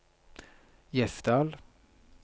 Gjesdal